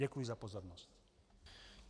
Děkuji za pozornost.